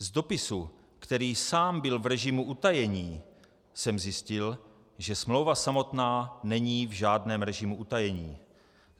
Z dopisu, který sám byl v režimu utajení, jsem zjistil, že smlouva samotná není v žádném režimu utajení.